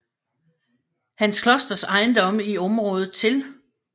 Hans Klosters ejendomme i området til